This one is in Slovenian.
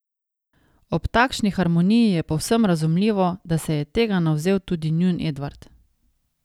Ob takšni harmoniji je povsem razumljivo, da se je tega navzel tudi njun Edvard.